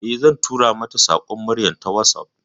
Eh, zan tura mata saƙon murya a WhatsApp.